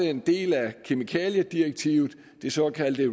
en del af kemikaliedirektivet det såkaldte